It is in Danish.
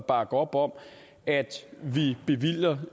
bakke op om at vi bevilger